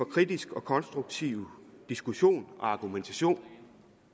kritisk og konstruktiv diskussion og argumentation